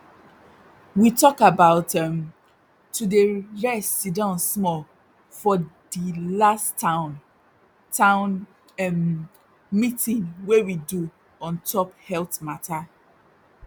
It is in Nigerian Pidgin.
we talk about um to dey rest siddon small for di last town town um meeting wey we do ontop health matter